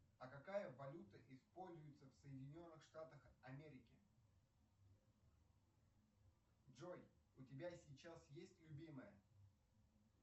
а какая валюта используется в соединенных штатах америки джой у тебя сейчас есть любимая